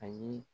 Ayi